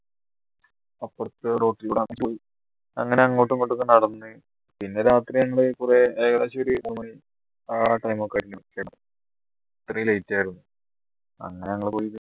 അപ്പറത്തെ അങ്ങനെ അങ്ങോട്ടുമിങ്ങോട്ടും ഒക്കെ നടന്നു പിന്നെ രാത്രി ഞങ്ങൾ കുറെ ഏകദേശം ആ time ഒക്കെ ആയികുണു അത്രയും late ആയിരുന്നു അങ്ങനെ ഞങ്ങൾ